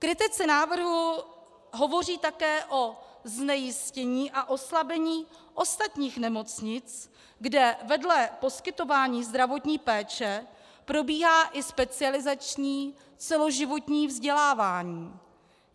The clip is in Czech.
Kritici návrhu hovoří také o znejistění a oslabení ostatních nemocnic, kde vedle poskytování zdravotní péče probíhá i specializační celoživotní vzdělávání.